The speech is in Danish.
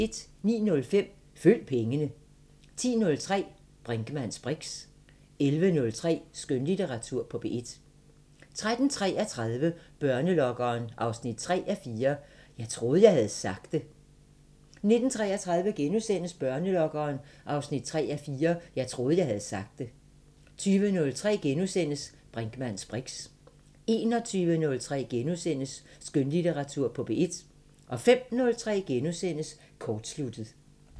09:05: Følg pengene 10:03: Brinkmanns briks 11:03: Skønlitteratur på P1 13:33: Børnelokkeren 3:4 – Jeg troede, jeg havde sagt det 19:33: Børnelokkeren 3:4 – Jeg troede, jeg havde sagt det * 20:03: Brinkmanns briks * 21:03: Skønlitteratur på P1 * 05:03: Kortsluttet *